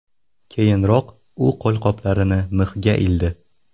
Keyinroq u qo‘lqoplarini mixga ildi.